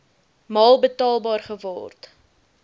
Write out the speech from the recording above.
maal betaalbaar geword